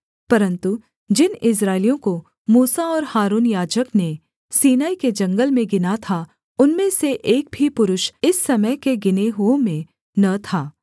परन्तु जिन इस्राएलियों को मूसा और हारून याजक ने सीनै के जंगल में गिना था उनमें से एक भी पुरुष इस समय के गिने हुओं में न था